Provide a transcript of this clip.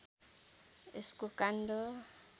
यसको काण्ड